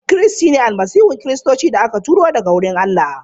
Kristi shine Almasihun Kiristoci da aka aiko daga wurin Allah.